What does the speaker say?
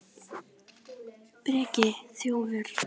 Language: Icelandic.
Breki: Þjófur?